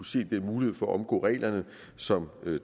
sige den mulighed for at omgå reglerne som